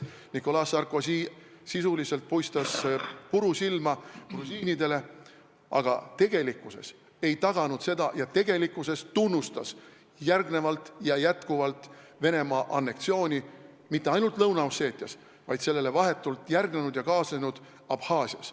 Nicolas Sarkozy sisuliselt puistas grusiinidele puru silma, tegelikult ei taganud ta seda kokkulepet ja tunnustas järgnevalt mitte ainult Venemaa anneksiooni Lõuna-Osseetias, vaid ka sellele vahetult järgnenud ja sellega kaasnenud anneksiooni Abhaasias.